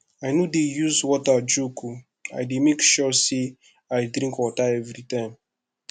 i no dey use water joke o i dey make sure sey i drink water everytime